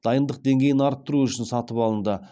дайындық деңгейін арттыру үшін сатып алынды